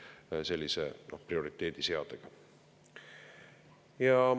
Seaks sellised prioriteedid.